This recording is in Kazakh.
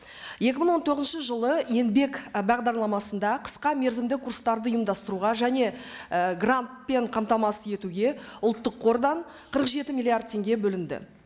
екі мың он тоғызыншы жылы еңбек і бағдарламасында қысқа мерзімді курстарды ұйымдастыруға және і грантпен қамтамасыз етуге ұлттық қордан қырық жеті миллиард теңге бөлінді